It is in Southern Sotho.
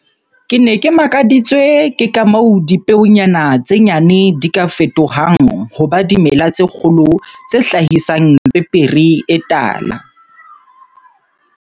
Ke ne ke makaditswe ke ka moo dipeonyana tse nyane di ka fetohang ho ba dimela tse kgolo tse hlahisang pepere e tala.